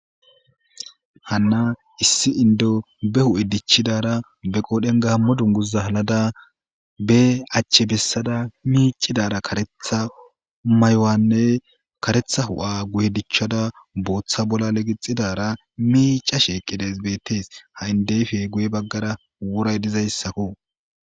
hanna issi indo be hu'e dichidara be qoodhen gaamo dunguza halada be achche bessada miicidara karetha mayowanne karetha hu'a guye dichchada booththa bolla legixidara miica sheeqqides bettees ha7indeyfe guye baggara wuray dizayssako